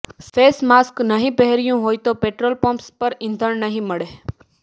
face mask નહીં પહેર્યું હોય તો પેટ્રોલ પમ્પ્સ પર ઈંધણ નહીં મળે